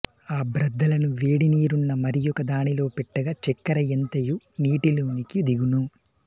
ఆ బ్రద్దలను వేడి నీరున్న మరియొక దానిలో పెట్టగ చెక్కెర యంతయు నీటిలోనికి దిగును